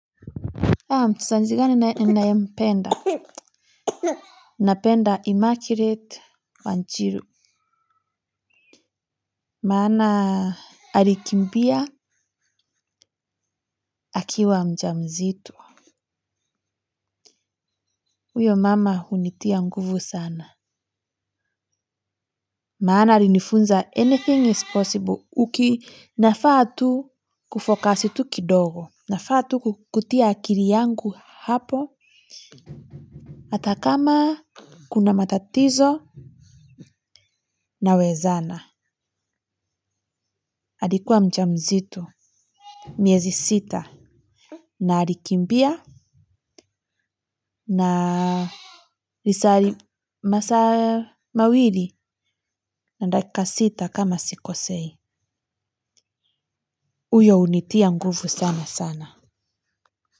Aah, mchezaji mgani ninayempenda, napenda Immaculate Wanjiru, maana alikimbia akiwa mjamzito, huyo mama hunitia nguvu sana, maana alinifunza anything is possible uki nafaa tu ku focus tu kidogo, nafaa tu kutia akili yangu hapo, hata kama kuna matatizo nawezana, alikuwa mjamzito. Miezi sita na alikimbia na masaa mawili na dakika sita kama sikosei. Huyo hunitia nguve sana sana.